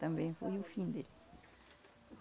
Também foi o fim dele.